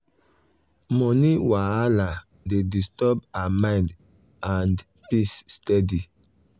money wahala dey disturb her mind and peace steady.